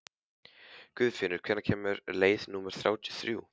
Guðfinnur, hvenær kemur leið númer þrjátíu og þrjú?